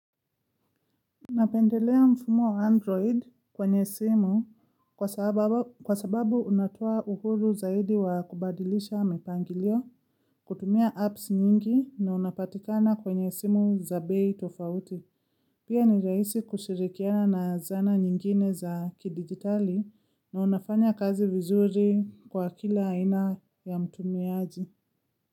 Napendelea mfumo wa android kwenye simu kwa sababu unatoa uhuru zaidi wa kubadilisha mipangilio kutumia apps nyingi na unapatikana kwenye simu za bei tofauti. Pia ni rahisi kushirikiana na zana nyingine za kidigitali na unafanya kazi vizuri kwa kila aina ya mtumiaji.